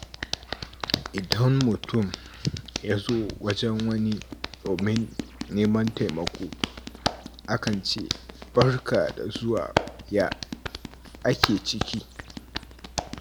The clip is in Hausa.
Idan mutum ya zo wajen wani domin neman taimako, akan ce “Barka da zuwa, ya ake ciki?”